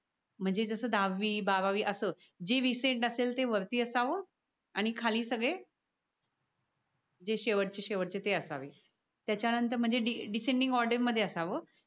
म्हणजे जस दहावी बारावी अस जे रीसेंट असेल ते वरती असाव. आणि खाली सगळे जे शेवट चे शेवट चे ते असावे. त्या च्या नंतर म्हणजे डिसेंडिंग ऑर्डर मध्ये असाव.